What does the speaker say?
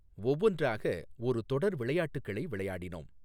ஒவ்வொன்றாக ஒரு தொடர் விளையாட்டுகளை விளையாடினோம்.